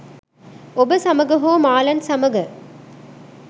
ඔබ සමඟ හෝ මාලන් සමඟ.